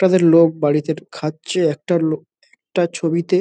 তাদের লোক বাড়িতে খাচ্ছে একটা লোক একটা ছবিতে --